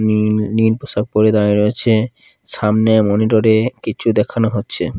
নীল নীল পোশাক পরে দাঁড়ায় রয়েছে সামনে মনিটর -এ কিচ্ছু দেখানো হচ্ছে।